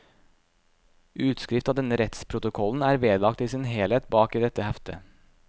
Utskrift av denne rettsprotokollen er vedlagt i sin helhet bak i dette heftet.